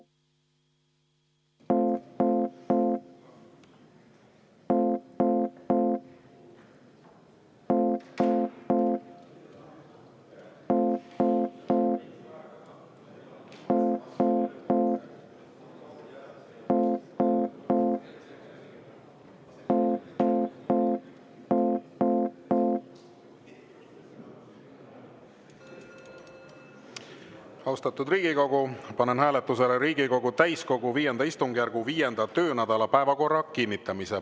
Austatud Riigikogu, panen hääletusele Riigikogu täiskogu V istungjärgu 5. töönädala päevakorra kinnitamise.